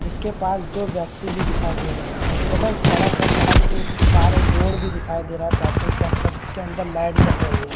जिसके पास जो व्यक्ति भी दिखाई दे रहे हैं तथा एक सड़क है सड़क के इस पार एक बोर्ड भी दिखाई दे रहा है पेट्रोल पंप का जिसके अंदर लाइट जल रही है।